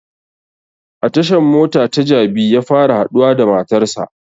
A tashan mota ta jabi ya fara haɗuwa da matar sa